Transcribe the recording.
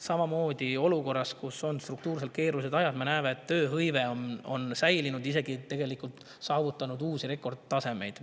Samamoodi me näeme olukorras, kus on struktuurselt keerulised ajad, et tööhõive on säilinud, tegelikult isegi saavutanud uusi rekordtasemeid.